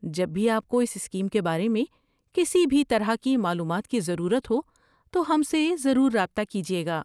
جب بھی آپ کو اس اسکیم کے بارے میں کسی بھی طرح کی معلومات کی ضرورت ہو تو ہم سے ضرور رابطہ کیجیے گا۔